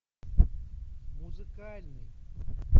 музыкальный